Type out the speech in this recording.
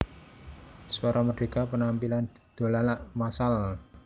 Suara Merdeka Penampilan Dolalak massal